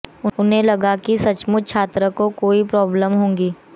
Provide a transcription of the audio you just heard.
उन्हें लगा कि सचमुच छात्र को कोई प्राब्लम होगी